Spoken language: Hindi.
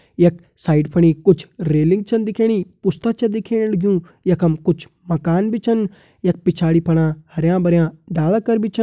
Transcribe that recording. यख साइड फणि कुछ रेलिंग छन दिखेणी पुस्ता छ दिखेण लग्युं यखम कुछ माकन भी छन यख पिछाड़ी फणा कुछ हरयां भरयां डाला कर भी छा।